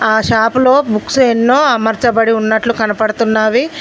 ఆ షాపులో బుక్స్ ఎన్నో అమర్చబడి ఉన్నట్లు కనపడుతున్నావి.